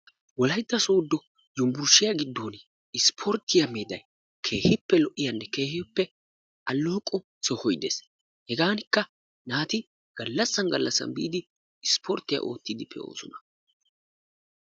Wolaytta sodo yunburshiyaa giddon isporttiya meeday keehippe lo'iyaanne keehippe alooqo sohoy dees, heganikka naati galassan galassan biidi isporttiyaa oottidi pe'osona.